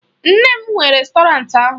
Nne m nwe rèstọrantị ahụ